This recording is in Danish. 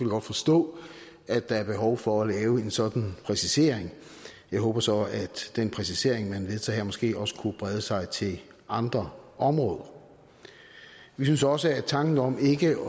godt forstå at der er behov for at lave en sådan præcisering jeg håber så at den præcisering man vedtager her måske også kunne brede sig til andre områder vi synes også at tanken om ikke